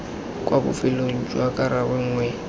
kwa bofelong jwa karabo nngwe